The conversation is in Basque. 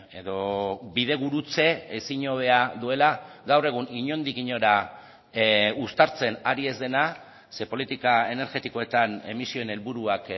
edo bidegurutze ezin hobea duela gaur egun inondik inora uztartzen ari ez dena ze politika energetikoetan emisioen helburuak